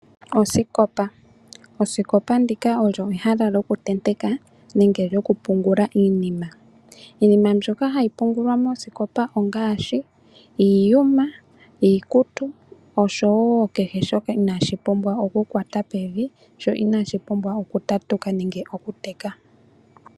Osikopa! osikopa olyo ehala lyoku tenteka nenge lyoku pungulila iinima . Iinima mbyoka hayi pungulwa mosikopa ongaashi iiyuma , iikutu osho woo kehe shoka inaashi pumbwa oku kwata pevi sho inashi pumbwa oku tatuka nenge oku teka.